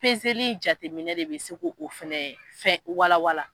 Pezeli in jateminɛ de bɛ se ke o fɛnɛ fɛn walawala.